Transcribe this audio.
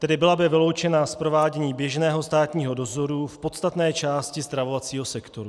Tedy byla by vyloučena z provádění běžného státního dozoru v podstatné části stravovacího sektoru.